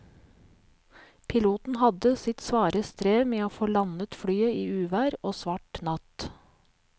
Piloten hadde sitt svare strev med å få landet flyet i uvær og svart natt.